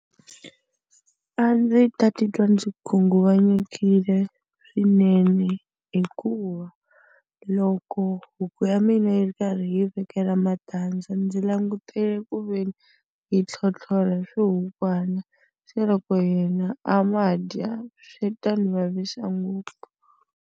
A ndzi ta titwa ndzi khunguvanyisekile swinene hikuva loko huku ya mina yi ri karhi yi vekela va matandza ndzi langutele ku ve ni yi tlhotlhora swikukwana, se loko yena a ma dya swi ta ni vavisa ngopfu.